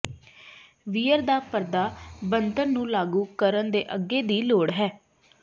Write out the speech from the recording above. wear ਦਾ ਪਰਦਾ ਬਣਤਰ ਨੂੰ ਲਾਗੂ ਕਰਨ ਦੇ ਅੱਗੇ ਦੀ ਲੋੜ ਹੈ